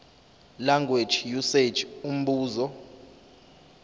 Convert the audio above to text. language usage umbuzo